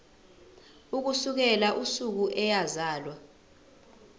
ukusukela usuku eyazalwa